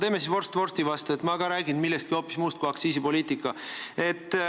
Teeme siis vorst vorsti vastu ja ma ka räägin millestki hoopis muust kui aktsiisipoliitika.